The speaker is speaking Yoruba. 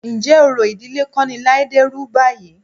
Ǹjẹ́ orò ìdílé kọ́ ni Láídé rú báyìí?